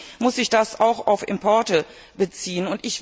Natürlich muss sich das auch auf Importe beziehen.